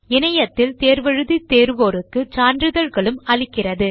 இணையத்தில் தேர்வு எழுதி தேர்வோருக்கு சான்றிதழ்களும் அளிக்கிறது